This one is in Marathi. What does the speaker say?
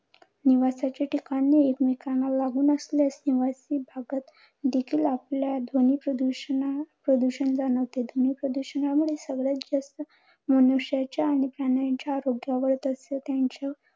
निवासाचे ठिकाण एकमेकांना लागून असल्यास निवासी भागात देखील आपल्याला ध्वनी प्रदूषणा प्रदूषण जाणवते. ध्वनी प्रदूषणामुळे सगळ्यात जास्त मनुष्याच्या आणि प्राण्यांच्या आरोग्यावर तसेच त्यांच्या वर्तनावर